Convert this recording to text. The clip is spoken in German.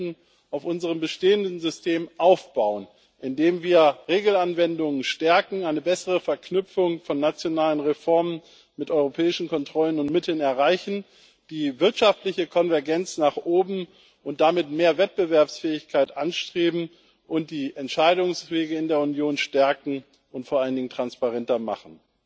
Wir möchten auf unserem bestehenden System aufbauen, indem wir Regelanwendungen stärken, eine bessere Verknüpfung von nationalen Reformen mit europäischen Kontrollen und Mitteln erreichen, die wirtschaftliche Konvergenz nach oben und damit mehr Wettbewerbsfähigkeit anstreben und die Entscheidungswege in der Union stärken und vor allen Dingen transparenter machen.